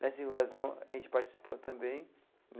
Nessa invasão, a gente participou também.